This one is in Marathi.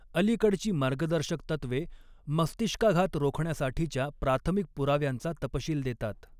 अलीकडची मार्गदर्शक तत्त्वे मस्तिष्काघात रोखण्यासाठीच्या प्राथमिक पुराव्यांचा तपशील देतात.